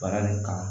Baara le kama